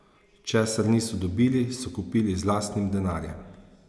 Česar niso dobili, so kupili z lastnim denarjem.